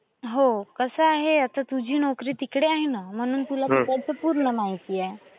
हो, कसं आहे आता तुझी नोकरी हो, कसं आहे आता तुझी नोकरी तिकडे आहे ना. म्हणून तुला तिकडचं पूर्ण माहिती आहे. तिकडे आहे ना.